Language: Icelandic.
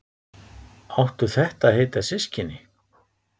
Áttu þetta að heita systkini?